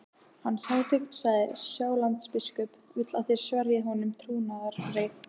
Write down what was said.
Hans hátign, sagði Sjálandsbiskup,-vill að þér sverjið honum trúnaðareið.